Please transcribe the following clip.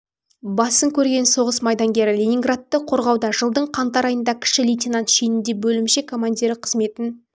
басын көрген соғыс майдангері ленинградты қорғауда жылдың қаңтар айында кіші лейтенант шенінде бөлімше командирі қызметін